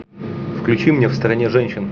включи мне в стране женщин